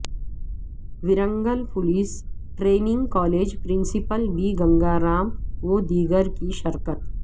Warangal police training college principal B Ganga Ram و دیگرکی شرکت